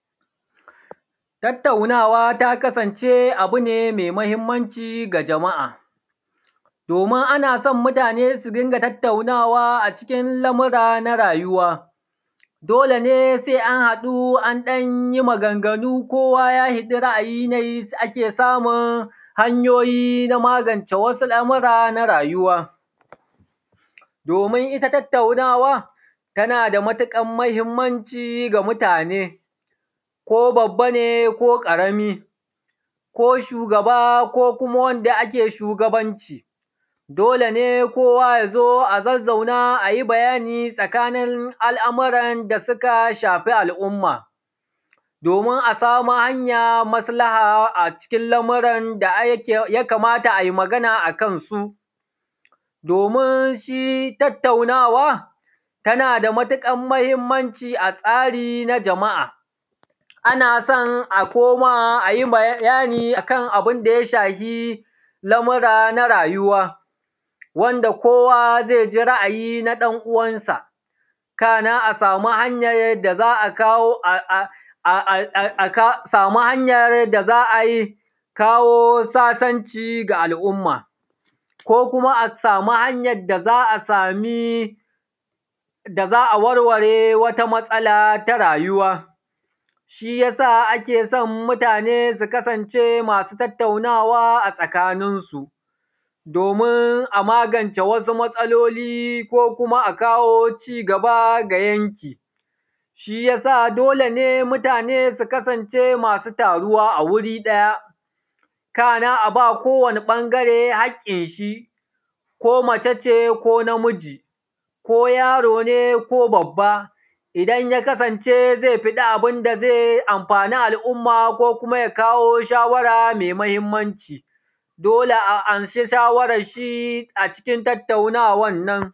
Tattaunawa ta kasance abune mai mahimmanci ga jama’a, domin anaso mutane su dinga tattaunawa a cikin lamura na rayuwa dole ne sai an haɗu an ɗanyi maganganu kowa ya haɗi ra’ayi nayi ake samun hanyoyi na magance wasu lamura na rayuwa, domin itta tautaunawa, tanada matuƙar mahimmanci ga mutane, ko babba ne ko ƙarami, ko shugaba ko kuma wanda ake shugabanci. Dole kowa yazo a zazzauna ayi bayani tsakanin al’amuran da suka shafi al’umma domin a sami hanyan maslaha a cikin lamuran da aikin yakamata ayi magana akansu, domin shi tattaunawa tanada matuƙan mahimmanci a tsari na jama’a. A nason a koma ayi bayani akan abunda ya shahi lamura na rayuwa wanda kowa zaiji ra’ayi na ɗan uwansa kana a samu hanyan da za’a kawo um a samu hanyar da za ayi kawo sasanci ga al’umma ko kuma a samu hanyan da za’a samii, da za’a warware wata matsala ta rayuwa shiyasa akeso mutane su kasance masu tattaunawa a tsakanin su, domin a mangance wasu matsaloli ko kuma a kawo cigaba ga yanki. Shiyasa dole ne mutane su kasance masu taruwa a wuri ɗaya, kana a ba kowani ɓangare hakinshi ko mace ko namiji ko yarone ko babba idan yakasance ze fiɗi abinda zai taimaki al’uuma ko kuma ya kawo shawara mai mahimmanci dole a anshi shawaranshi a cikin tattaunawannan.